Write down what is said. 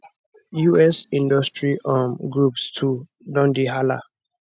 us industry um groups too don dey hala